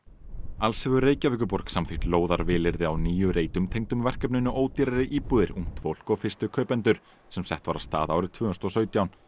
alls hefur Reykjavíkurborg samþykkt á níu reitum tengdum verkefninu ódýrari íbúðir ungt fólk og fyrstu kaupendur sem sett var af stað árið tvö þúsund og sautján